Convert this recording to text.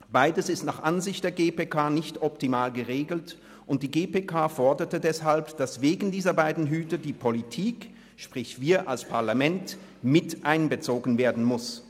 Beides ist nach Ansicht der GPK nicht optimal geregelt, und die GPK forderte deshalb, dass wegen dieser beiden Hüte, die Politik – sprich wir als Parlament – mit einbezogen werden muss.